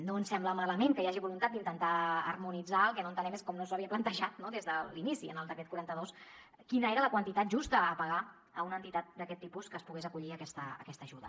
no ens sembla malament que hi hagi voluntat d’intentar harmonitzar el que no entenem és com no s’havia plantejat no des de l’inici en el decret quaranta dos quina era la quantitat justa a pagar a una entitat d’aquest tipus que es pogués acollir a aquesta ajuda